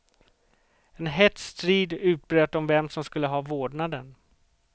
En hätsk strid utbröt om vem som skulle ha vårdnaden.